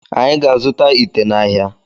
Anyị ga azụta ite n'ahia